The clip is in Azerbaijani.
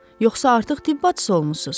Yoxsa artıq tibb bacısı olmusunuz?